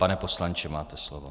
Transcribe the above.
Pane poslanče, máte slovo.